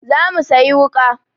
Za mu sayi wuƙa.